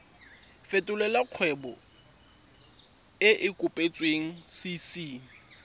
fetolela kgwebo e e kopetswengcc